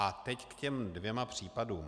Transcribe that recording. A teď k těm dvěma případům.